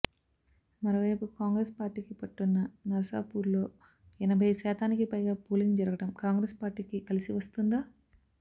మరోవైపు కాంగ్రెస్ పార్టీకి పట్టున్న నర్సాపూర్ లో ఎనబై శాతానికి పైగా పోలింగ్ జరగడం కాంగ్రెస్ పార్టీకి కలిసి వస్తుందా